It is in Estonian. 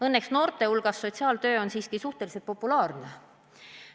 Õnneks noorte hulgas on sotsiaaltöö siiski suhteliselt populaarne.